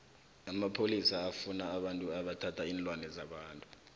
amapholisa afuna abantu abathatha iinlwana zabantu